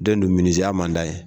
Den dun miniziya man d'a ye